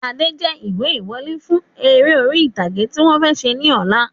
Adé jẹ ìwé ìwọlé fún eré orí ìtàgé tí wọ̀n fẹ́ ṣe ní ọ̀la